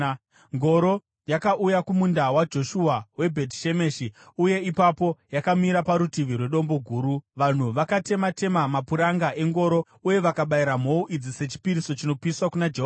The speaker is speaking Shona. Ngoro yakauya kumunda waJoshua weBhetishemeshi uye ipapo yakamira parutivi rwedombo guru. Vanhu vakatema-tema mapuranga engoro uye vakabayira mhou idzi sechipiriso chinopiswa kuna Jehovha.